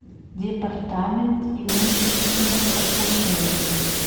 департамент имущественных отношений